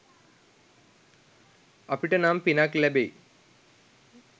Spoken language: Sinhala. අපිට නම් පිනක් ලැබෙයි